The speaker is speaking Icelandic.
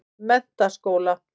Menntaskóla